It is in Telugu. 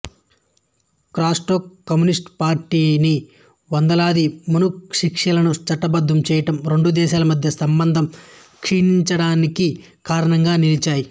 కాస్ట్రో కమ్యూనిస్టు పార్టీని వందలాది మణశిక్షలను చట్టబద్ధం చేయడం రెండు దేశాలమద్య సంబంధం క్షీణించడానికి కారణంగా నిలిచాయి